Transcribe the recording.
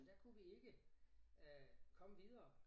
Så der kunne vi ikke øh komme videre